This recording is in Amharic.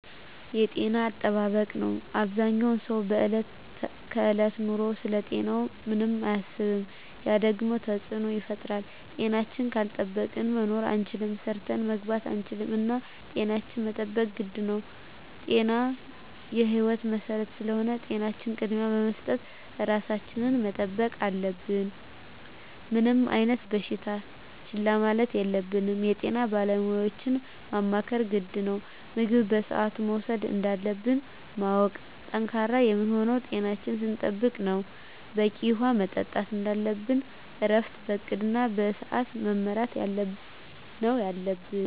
የጤና አጠባበቅ ነው አበዛኛው ሰው በዕለት ከዕለት ኑሮው ስለ ጤናው ምንም አያስብም ያ ደግሞ ተፅዕኖ ይፈጥራል። ጤናችን ካልጠበቅን መኖር አንችልም ሰርተን መግባት አንችልም እና ጤናችን መጠበቅ ግድ ነው ጤና የህይወት መሰረት ስለሆነ ለጤናችን ቅድሚያ በመስጠት ራሳችን መጠበቅ አለብን። ምንም አይነት በሽታ ችላ ማለት የለብንም የጤና ባለሙያዎችን ማማከር ግድ ነው። ምግብ በስአቱ መውሰድ እንዳለብን ማወቅ። ጠንካራ የምንሆነው ጤናችን ስንጠብቅ ነው በቂ ውሀ መጠጣት እንደለብን እረፍት በእቅድ እና በስዐት መመራት ነው የለብን